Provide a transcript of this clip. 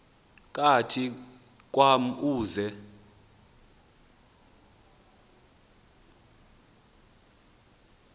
kathi kwam uze